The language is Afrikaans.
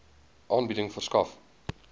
aanbieding verskaf